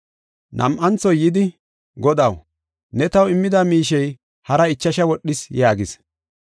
“Nam7anthoy yidi, ‘Godaw, ne taw immida miishey haraa ichasha wodhis’ yaagis.